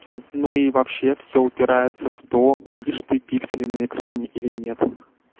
ну и вообще всё упирается в то видишь ты пиксели на экране или нет